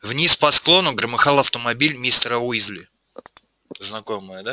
вниз по склону громыхал автомобиль мистера уизли знакомое да